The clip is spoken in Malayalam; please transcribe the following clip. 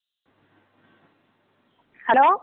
ഹലോ.